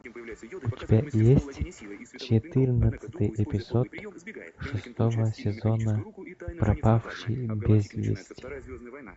у тебя есть четырнадцатый эпизод шестого сезона пропавшие без вести